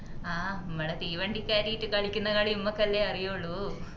ആഹ് മ്മള് തീവണ്ടി കേറീട്ട് കളിക്കുന്ന കളി മ്മക്ക് അല്ലെ അറിയൂള്ളു